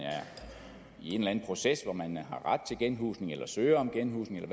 i en eller anden proces hvor man har ret til genhusning eller søger om genhusning